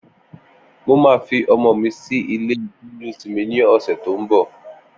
Mó mà fi ọmọ mi si ilé jẹléósìmì ni ọsẹ tó n bọ